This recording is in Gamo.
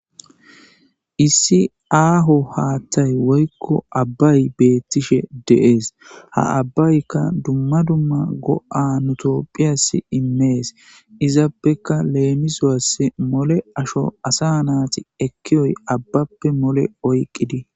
issi aaho haaththay woykko abbay beettishe deees ha abbaykka dumma dumma go7a nutophiyas inmees izappeka leemisowas mole asho asa naati ekkiyoy abbappe mole oyqqidi.